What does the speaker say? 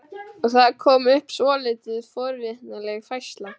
Og það kom upp svolítið forvitnileg færsla.